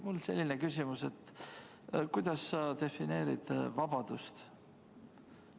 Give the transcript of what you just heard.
Mul on selline küsimus: kuidas sa defineerid vabadust?